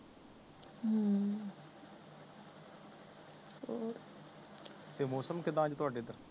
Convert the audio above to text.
ਤੇ ਮੌਸਮ ਕਿਦਾ ਅੱਜ ਤੁਆਡੇ ਏਧਰ